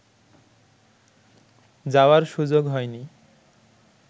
যাওয়ার সুযোগ হয়নি